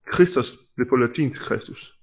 Khristos blev på latin til Christus